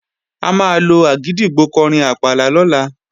A máa lo àgìdìgbò kọrin àpàlà lọ́la